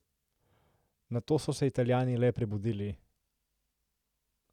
Nato so se Italijani le prebudili.